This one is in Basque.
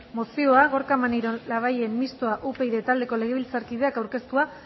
mozioa gorka maneiro labayen mistoa upyd taldeko legebiltzarkideak aurkeztua